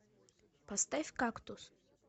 поставь кактус